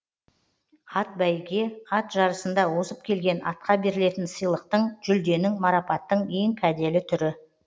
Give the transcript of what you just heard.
атбәйге ат жарысында озып келген атқа берілетін сыйлықтың жүлденің марапаттың ең кәделі түрі